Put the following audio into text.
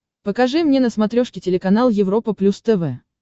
покажи мне на смотрешке телеканал европа плюс тв